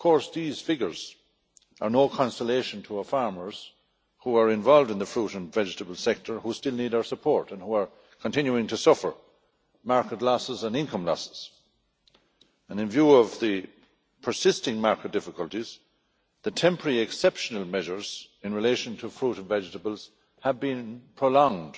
These figures are no consolation to our farmers who are involved in the fruit and vegetable sector, who still need our support and who are continuing to suffer market losses and income losses. In view of the persisting market difficulties, the temporary exceptional measures in relation to fruit and vegetables have been prolonged